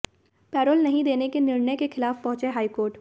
payroll नहीं देने के निर्णय के खिलाफ पहुंचे हाई कोर्ट